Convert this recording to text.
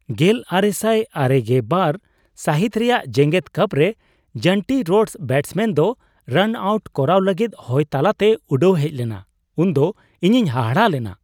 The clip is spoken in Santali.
᱑᱙᱙᱒ ᱥᱟᱹᱦᱤᱛ ᱨᱮᱭᱟᱜ ᱡᱮᱜᱮᱫ ᱠᱟᱯᱨᱮ ᱡᱚᱱᱴᱤ ᱨᱳᱰᱥ ᱵᱮᱴᱥᱢᱮᱱ ᱫᱚ ᱨᱟᱱᱼᱟᱣᱩᱴ ᱠᱚᱨᱟᱣ ᱞᱟᱹᱜᱤᱫ ᱦᱚᱭ ᱛᱟᱞᱟᱛᱮ ᱩᱰᱟᱹᱣ ᱦᱮᱡ ᱞᱮᱱᱟ ᱩᱱᱫᱚ ᱤᱧᱤᱧ ᱦᱟᱦᱟᱲᱟᱜ ᱞᱮᱱᱟ ᱾